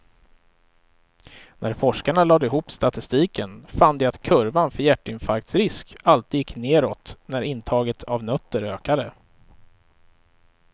När forskarna lade ihop statistiken fann de att kurvan för hjärtinfarktsrisk alltid gick neråt när intaget av nötter ökade.